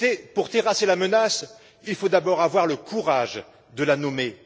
Pour terrasser la menace, il faut d'abord avoir le courage de la nommer.